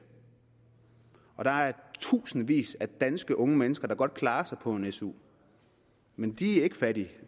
og der er tusindvis af danske unge mennesker der godt kan klare sig på en su men de er ikke fattige